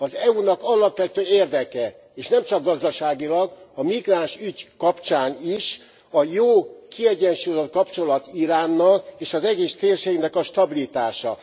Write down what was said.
Az EU nak alapvető érdeke, és nem csak gazdaságilag, a migráns ügy kapcsán is, a jó, kiegyensúlyozott kapcsolat Iránnal és az egész térségnek a stabilitása.